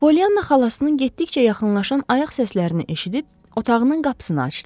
Polyanna xalasının getdikcə yaxınlaşan ayaq səslərini eşidib otağının qapısını açdı.